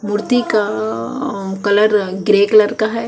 मूर्ती का अअअ कलर अ ग्रे कलर का है।